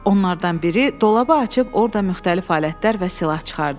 Onlardan biri dolabı açıb orda müxtəlif alətlər və silah çıxardı.